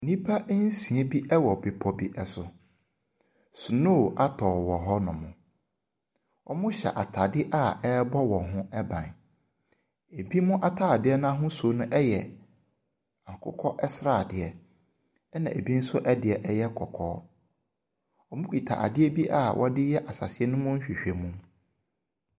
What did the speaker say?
Nnipa nsia bi wɔ bepɔ bi so. Snow atɔ wɔ hɔnom. Wɔhyɛ atade a ɛrebɔ wɔn ho ban. Ebinom atade no ahosuo no yɛ akokɔ sradeɛ, ɛnna ebi nso yɛ kɔkɔɔ. Wɔkuta adeɛ bi a wɔde yɛ asase no mu nhwehwɛmu.